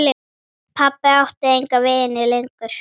Pabbi átti enga vini lengur.